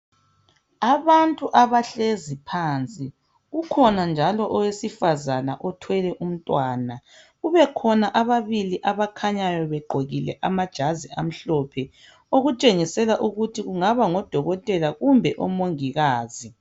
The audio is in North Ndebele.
Abantu abahlezi phansi. Kukhona njalo owesifazana othwele umntwana kube khona ababili abakhanyayo begqokile amajazi amhlophe okutshengisela ukuthi kungaba ngodokotela kumbe omongikazi.